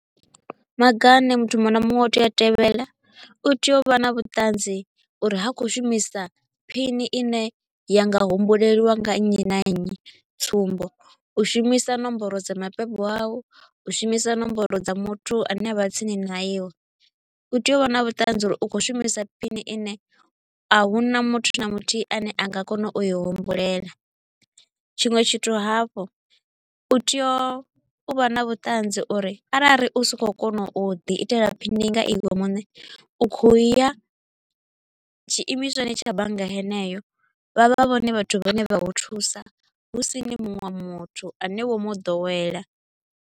Maga a ne muthu muṅwe na muṅwe u tea u a tevhela, u tea u vha na vhuṱanzi uri ha kho u shumisa pin ine ya nga humbulelwa nga nnyi na nnyi, tsumbo, u shumisa nomboro dza mabebo au, u shumisa nomboro dza muthu a ne a vha tsini na iwe. U tea u vha na vhuṱanzi uri u kho u shumisa pin ine a huna muthu na muthihi a ne a nga kona u i humbulela. Tshiṅwe tshithu hafhu, u tea u vha na vhuṱanzi uri arali u sa kho u kona u ḓi itela pin nga iwe muṋe, u kho u ya tshiimiswani tsha bannga heneyo, vha vha vhone vhathu vha ne vha u thusa, husini munwe muthu a ne wo mu ḓowela.